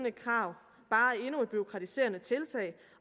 et krav bare endnu et bureaukratiserende tiltag